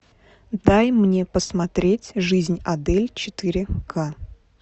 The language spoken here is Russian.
дай мне посмотреть жизнь адель четыре ка